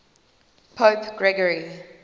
pope gregory